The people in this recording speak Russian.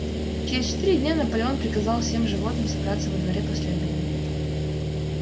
через четыре дня наполеон приказал всем животным собраться во дворе после обеда